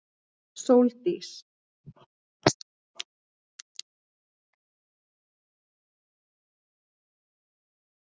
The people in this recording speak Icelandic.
Sóldís